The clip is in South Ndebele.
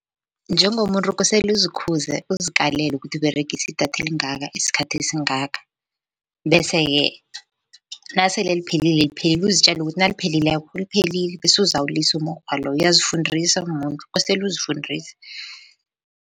Njengomuntu kosele uzikhuze, uzikalele kuthi Uberegisa idatha elingaka, isikhathi esingaka. Bese-ke nasele liphelile, liphelile uzitjele ukuthi naliphelileko liphelile bese uzawulisa umukghwa loyo uyazifundisa nawumuntu kostele uzifundise.